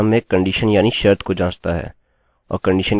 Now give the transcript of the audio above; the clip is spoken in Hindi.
इस ट्यूटोरियल में हम while लूपloop के बारे में जानेंगे